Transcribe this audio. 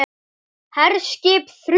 HERSKIP ÞRJÚ